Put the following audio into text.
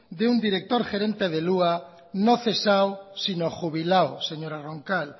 de un director gerente del hua no cesado sino jubilado señora roncal